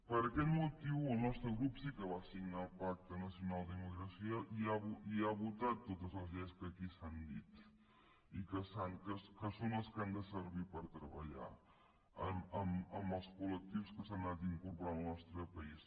per aquest motiu el nostre grup sí que va votar el pacte nacional per a la immigració i ha votat totes les lleis que aquí s’han dit i que són les que han de servir per treballar amb els col·lectius que s’han anat incorporant al nostre país